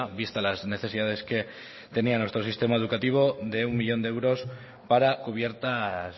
vista las necesidades que tenía nuestro sistema educativo de uno millón de euros para cubiertas